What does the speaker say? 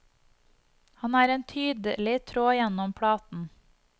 Han er en tydelig tråd gjennom platen.